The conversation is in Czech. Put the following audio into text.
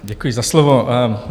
Děkuji za slovo.